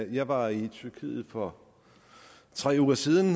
jeg var i tyrkiet for tre uger siden